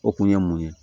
O kun ye mun ye